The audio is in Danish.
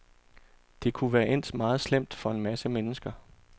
Det kunne være endt meget slemt for en masse mennesker.